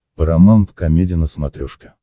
парамаунт комеди на смотрешке